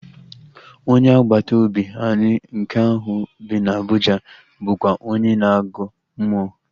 Onye agbata obi anyị nke ahụ bi na Abụja bụkwa onye na-agọ mmụọ